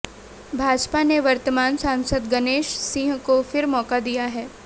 भाजपा ने वर्तमान सांसद गणेश सिंह को फिर मौका दिया है